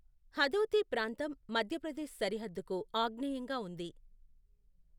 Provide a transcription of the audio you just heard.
హదోతి ప్రాంతం మధ్యప్రదేశ్ సరిహద్దుకు ఆగ్నేయంగా ఉంది.